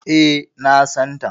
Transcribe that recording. E, na san ta.